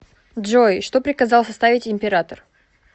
джой что приказал составить император